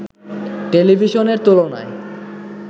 টেলিভিশনের তুলনায়